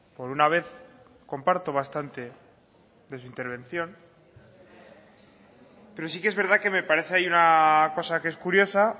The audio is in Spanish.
por una vez comparto bastante de su intervención pero sí que es verdad que me parece ahí una cosa que es curiosa